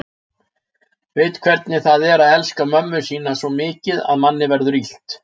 Veit hvernig það er að elska mömmu sína svo mikið að manni verður illt.